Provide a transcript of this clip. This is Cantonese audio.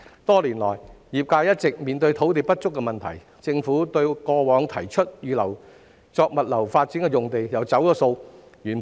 多年來，業界一直面對土地不足的問題，政府過往曾提出預留用地作物流發展，但卻"走數"。